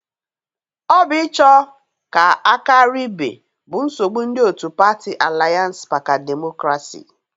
Ọ bụ ịcho ka a karia ibe bụ nsogbụ ndị otu patị Alianse maka demokrasi.